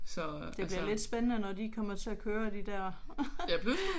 Det bliver lidt spændende når de kommer til at køre de der